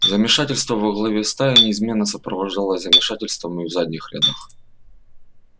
замешательство во главе стаи неизменно сопровождалось замешательством и в задних рядах